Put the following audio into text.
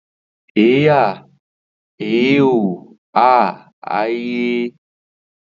Êàê ìèíèìóì äâà ãîäà.